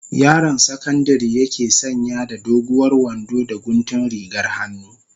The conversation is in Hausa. Yaron sakandari yake sanya da doguwar wando da guntun rigar hannu.